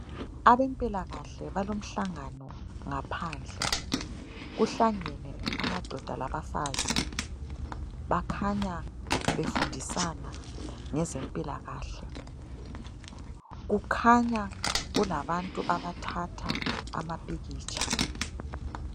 Abempilakahle balomhlangano ngaphandle . Kuhlangene amadoda labafazi. Bakhanya befundisana ngezempilakahle. Kukhanya kulabantu abathatha amapikitsha.